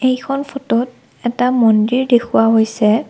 এইখন ফটোত এটা মন্দিৰ দেখুওৱা হৈছে।